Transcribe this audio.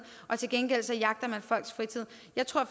og til gengæld jagter folks fritid jeg tror